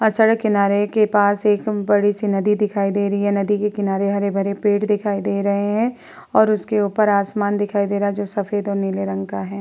और सड़क के किनारे के पास एक बड़ी-सी नदी दिखाई दे रही है। नदी के किनारे हरे-भरे पेड़ दिखाई दे रहे हैं और उसके ऊपर आसमान दिखाई दे रहा है जो सफ़ेद और नीले रंग का है।